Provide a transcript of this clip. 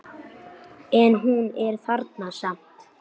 En hún er þarna samt.